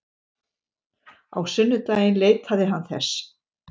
Á sunnudaginn leitaði hann þess.